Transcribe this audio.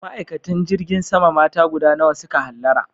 Ma'aikatan jirgin sama mata guda nawa su ka hallara?